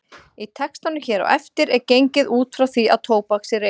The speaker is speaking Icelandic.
Í textanum hér á eftir er gengið út frá því að tóbak sé reykt.